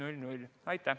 Aitäh!